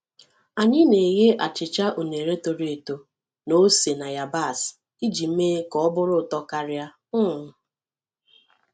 Anyị na-eghe achịcha unere toro eto na ose na yabasị iji mee ka ọ bụrụ ụtọ karịa. um